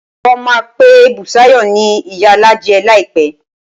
Wọ́n á máa pe Bùsáyọ̀ ni ìyálájé láìpẹ́